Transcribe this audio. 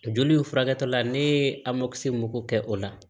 Joli in furakɛli la ne ye mun ko kɛ o la